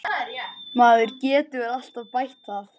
Maður getur alltaf bætt það.